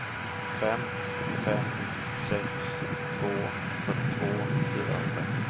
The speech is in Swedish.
fem fem sex två fyrtiotvå fyrahundra